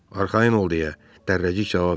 Arxayın ol, deyə Dərrəcik cavab verdi.